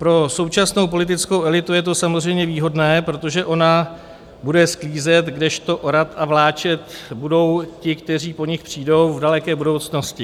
"Pro současnou politickou elitu je to samozřejmě výhodné, protože ona bude sklízet, kdežto orat a vláčet budou ti, kteří po nich přijdou v daleké budoucnosti.